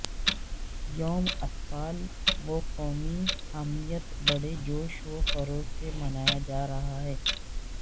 یوم اطفال و قومی حاکمیت بڑے جوش و خروش سے منایا جا رہا ہے